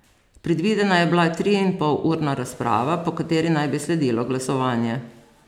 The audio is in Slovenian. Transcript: Predvidena je bila triinpolurna razprava, po kateri naj bi sledilo glasovanje.